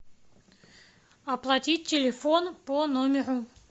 оплатить телефон по номеру